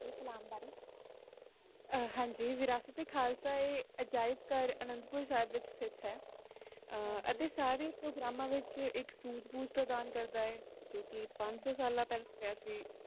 ਵਿਰਾਸਤ ਏ ਖਾਲਿਸਬਦ ਦਾ ਕਿ ਕਹਿਣਾ ਹੈ ਤੁਸੀ ਕਿ ਜਾਂਦੇ ਹੋ